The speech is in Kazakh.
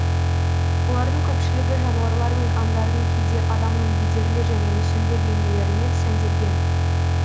олардың көпшілігі жануарлар мен аңдардың кейде адамның бедерлі және мүсінді бейнелерімен сәнделген